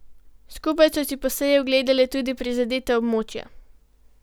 Skupaj so si po seji ogledali tudi prizadeta območja.